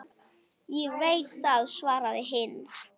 Ég veit það, svaraði hinn.